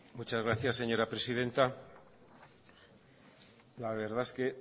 muchas gracias señora presidenta la verdad es que